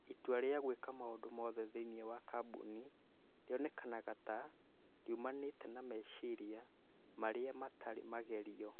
Itua rĩa gwĩka maũndũ mothe thĩinĩ wa kambuni rĩonekaga ta rĩoimanĩte na meciria marĩa mataarĩ magerio.